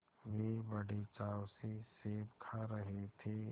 वे बड़े चाव से सेब खा रहे थे